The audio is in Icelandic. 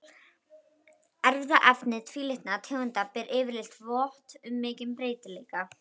Erfðaefni tvílitna tegunda ber yfirleitt vott um mikinn breytileika.